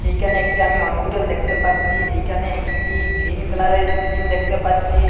এইখানে একটি আমি হসপিটাল দেখতে পাচ্ছি এইখানে একটি গ্ৰিন কালারের ইস্কিন দেখতে পাচ্ছি।